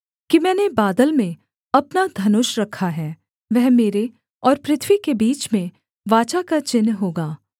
कि मैंने बादल में अपना धनुष रखा है वह मेरे और पृथ्वी के बीच में वाचा का चिन्ह होगा